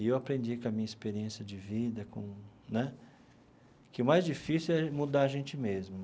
E eu aprendi com a minha experiência de vida com né que o mais difícil é mudar a gente mesmo.